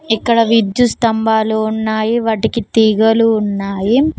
ఇక్కడ విద్యుత్ స్తంభాలు ఉన్నాయి వాటికి తీగలు ఉన్నాయి.